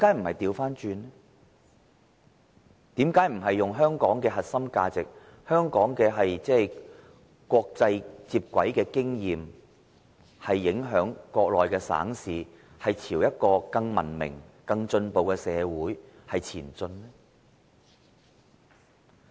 為甚麼不是以香港的核心價值、香港與國際接軌的經驗來影響國內省市，朝一個更文明、更進步的社會前進呢？